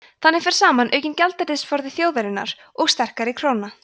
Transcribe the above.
þannig fer saman aukinn gjaldeyrisforði þjóðarinnar og sterkari króna